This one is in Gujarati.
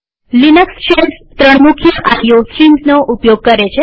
લિનક્સ શેલ્સ ત્રણ મુખ્ય આઈઓ સ્ટ્રીમ્સનો ઉપયોગ કરે છે